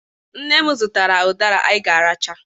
Nne m zụtara ụdara anyị ga-aracha